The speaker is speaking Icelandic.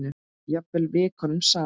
Jafnvel vikunum saman.